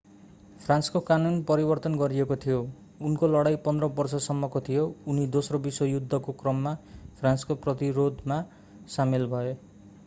फ्रान्सको कानून परिवर्तन गरिएको थियो उनको लडाईं 15 बर्ष सम्मको थियो उनी दोस्रो विश्वयुद्धको क्रममा फ्रान्सको प्रतिरोधमा सामेल भए